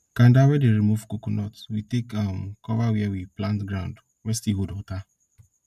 kanda wey dey remove coconut we take um cover where we plant ground wey still hold water